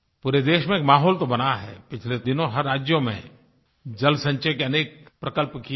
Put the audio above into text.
पूरे देश में एक माहौल तो बना है पिछले दिनों हर राज्य में जल संचय के अनेक प्रकल्प किये हैं